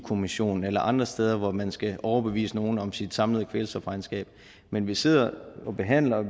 kommissionen eller andre steder hvor man skal overbevise nogle om sit samlede kvælstofregnskab men vi sidder og behandler